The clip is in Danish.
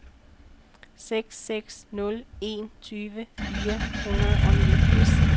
seks seks nul en tyve fire hundrede og niogfirs